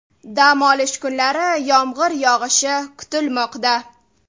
Dam olish kunlari yomg‘ir yog‘ishi kutilmoqda.